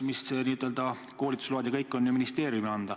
Koolitusload annab neile ministeerium.